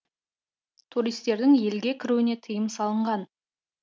туристердің елге кіруіне тыйым салынған